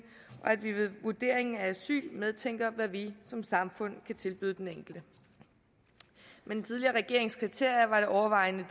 og at vi ved vurderingen af asyl medtænker hvad vi som samfund kan tilbyde den enkelte med den tidligere regerings kriterier var det overvejende